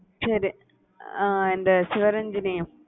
சரி ஆஹ் இந்த sivaranjini